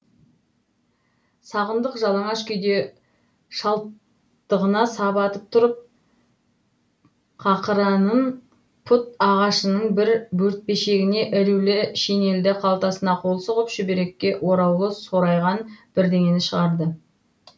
сағындық жалаңаш күйде шалттығына сап атып тұрып қақыраның пұт ағашының бір бөртпешегіне ілулі шинелдің қалтасына қол сұғып шүберекке ораулы сорайған бірдеңені шығарды